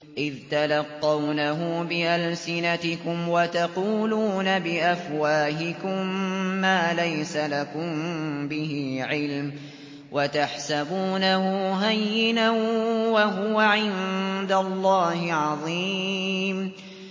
إِذْ تَلَقَّوْنَهُ بِأَلْسِنَتِكُمْ وَتَقُولُونَ بِأَفْوَاهِكُم مَّا لَيْسَ لَكُم بِهِ عِلْمٌ وَتَحْسَبُونَهُ هَيِّنًا وَهُوَ عِندَ اللَّهِ عَظِيمٌ